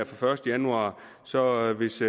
første januar så hvis